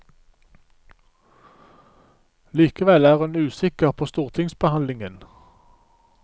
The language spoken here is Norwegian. Likevel er hun usikker på stortingsbehandlingen.